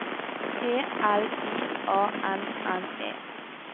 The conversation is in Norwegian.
E L I A N N E